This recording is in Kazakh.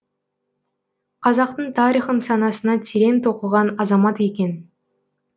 қазақтың тарихын санасына терең тоқыған азамат екен